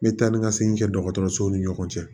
Me taa ni ka segin kɛ dɔgɔtɔrɔso ni ɲɔgɔn cɛ